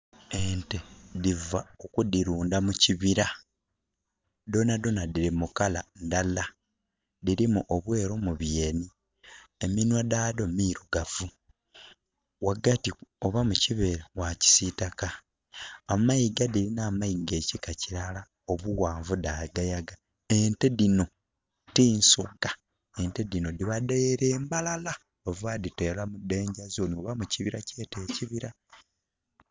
Ente dhiva ku kudirunda mu kibira. Dhonadhona diri mu langi ndala, dirimu obweru mu byeni, eminwa dhado mirugavu, wagati oba mukibere wa kisitaka. Amayiga dirina amayiga kika kirala obuwanvu dhagayaga. Ente dhino ti nsoga. Nte dhino diba dhere Mbarara.......